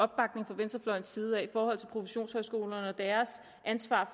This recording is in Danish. opbakning fra venstrefløjens side i forhold til professionshøjskolerne og deres ansvar